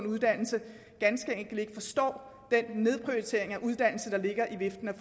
uddannelse ganske enkelt ikke forstår den nedprioritering af uddannelse der ligger i viften af